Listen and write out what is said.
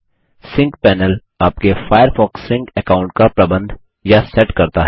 sink panel sync panel आपके Firefox sync account का प्रबंध या सेट करता है